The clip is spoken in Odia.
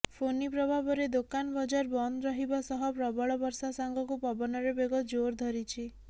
ଫୋନି ପ୍ରଭାବରେ ଦୋକାନ ବଜାର ବନ୍ଦ ରହିବା ସହ ପ୍ରବଳ ବର୍ଷା ସାଙ୍ଗକୁ ପବନର ବେଗ ଜୋର ଧରିଛି